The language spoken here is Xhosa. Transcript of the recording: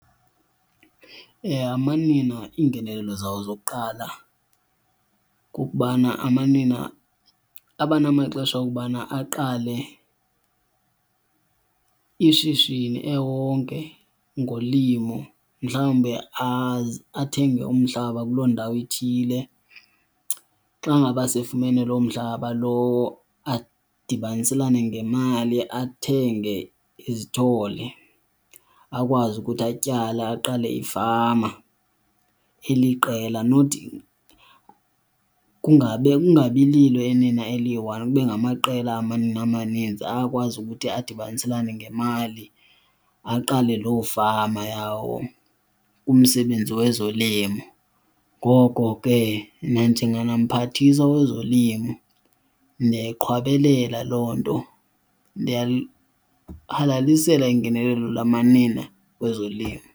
Amanina iingenelelo zawo zokuqala kukubana amanina abanamaxesha okubana aqale ishishini ewonke ngolimo, mhlawumbi athenge umhlaba kuloo ndawo ithile. Xa ngaba sefumene loo mhlaba lowo adibaniselane ngemali athenge izithole akwazi ukuthi atyale aqale ifama eliqela, not kungabe kungabi lilo inina eliyi-one, kube ngamaqela amanina amaninzi. Ayakwazi ukuthi adibaniselane ngemali aqale loo fama yawo kumsebenzi wezolimo, ngoko ke nanjenganamphathiswa wezolimo ndiyayiqhwabelela loo nto, ndiyalihalalisela ingenelelo lamanina kwezolimo.